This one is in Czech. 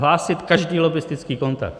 Hlásit každý lobbistický kontakt.